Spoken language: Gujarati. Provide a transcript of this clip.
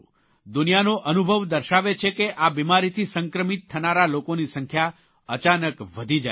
દુનિયાનો અનુભવ દર્શાવે છે કે આ બિમારીથી સંક્રમિત થનારા લોકોની સંખ્યા અચાનક વધી જાય છે